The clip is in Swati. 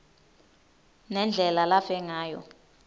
nendlela lafe ngayo